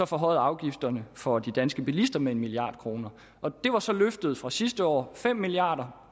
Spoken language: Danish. forhøjede afgifterne for de danske bilister med en milliard kroner det var så løftet fra sidste år fem milliard